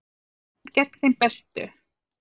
Í úrslitum gegn þeim bestu